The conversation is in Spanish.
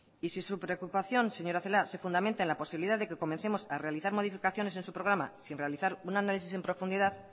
y si su preocupación señora celaá se fundamenta en la posibilidad de que comencemos a realizar modificaciones en su programa sin realizar un análisis en profundidad